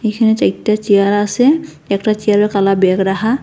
এখানে যে একটা চেয়ার আসে একটা চেয়ারে কালা ব্যাগ রাহা।